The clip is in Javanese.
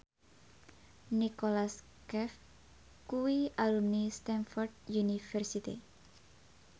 Nicholas Cafe kuwi alumni Stamford University